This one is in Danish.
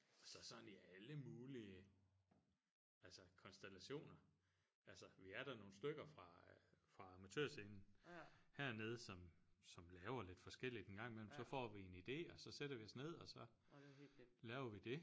Så sådan i alle mulige altså konstellationer altså vi er da nogle stykker fra fra Amatørscenen hernede som som laver lidt forskelligt en gang imellem så får vi en idé og så sætter vi os ned og så laver vi det